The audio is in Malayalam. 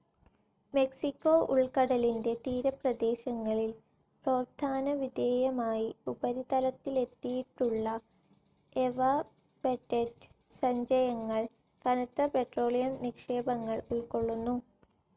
മെക്സിക്കോ ഉൾക്കടലിന്റെ തീരപ്രദേശങ്ങളിൽ പ്രോത്ഥാനവിധേയമായി ഉപരിതലത്തിലെത്തിയിട്ടുള്ള എവാപൊറൈറ്റ് സഞ്ചയങ്ങൾ കനത്ത പെട്രോളിയം നിക്ഷേപങ്ങൾ ഉൾക്കൊള്ളുന്നു.